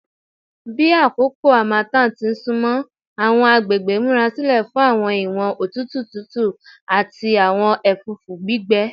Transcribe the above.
Bi akoko harmattan ti sunmọ, awọn agbegbe n murasilẹ fun awọn iwọn otutu tutu ati awọn ẹfũfu gbigbẹ